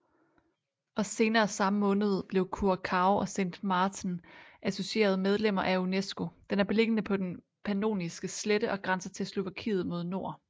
Og senere i samme måned blev curaçao og sint maarten associerede medlemmer af unescoDen er beliggende på den pannoniske slette og grænser til slovakiet mod nord